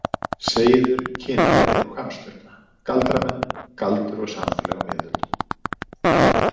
: Seiður, kynferði og Hvamm- Sturla, Galdramenn: Galdur og samfélag á miðöldum.